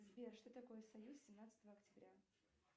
сбер что такое союз семнадцатого октября